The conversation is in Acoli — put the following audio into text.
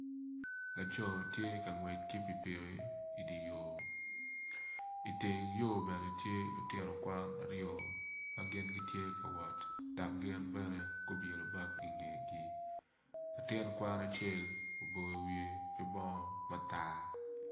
Laco ma tye ka ngwec ki pikipiki i dye yoo i teng yo bene tye lutino kwan aryo ma gin tye ka wot dok gin bene gutingo bag i ngegi latin kwan acel oboyo wiye ki bongo matar.